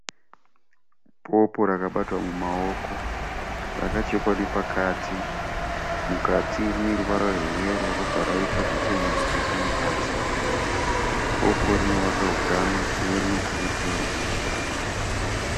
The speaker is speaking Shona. Popo rakabatwa mumaoko. Rakachekwa nepakati. Mukati rine ruvara rweyero robva raita zvichena zvakaiswa mukati. Popo rinovaka hutano uye rinokurudzirwa kudya.